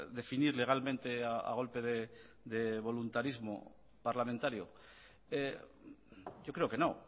definir legalmente a golpe de voluntarismo parlamentario yo creo que no